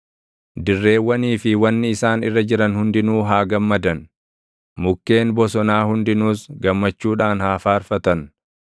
Dirreewwanii fi wanni isaan irra jiran hundinuu haa gammadan. Mukkeen bosonaa hundinuus gammachuudhaan haa faarfatan.